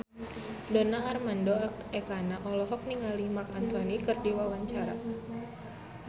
Donar Armando Ekana olohok ningali Marc Anthony keur diwawancara